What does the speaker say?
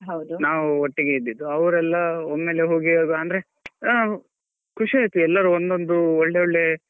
ನಾವ್ ಒಟ್ಟಿಗೆ ಇದ್ದಿದ್ದು ಅವ್ರೆಲ್ಲಾ ಒಮ್ಮೆಲೇ ಹೋಗಿ ಅಂದ್ರೆ noise ಖುಷಿಯಾಯಿತು ಎಲ್ಲರೂ ಒಂದೊಂದು ಒಳ್ಳೊಳ್ಳೆ.